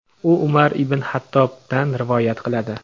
u Umar ibn Xattobdan (r.a.) rivoyat qiladi.